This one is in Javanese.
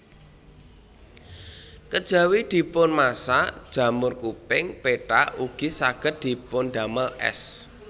Kejawi dipunmasak jamur kuping pethak ugi saged dipundamel ès